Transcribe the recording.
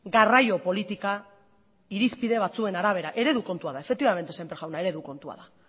garraio politika irizpide batzuen arabera eredu kontua da efektibamente semper jauna eredu kontua da